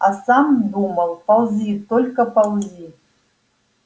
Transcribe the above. а сам думал ползи только ползи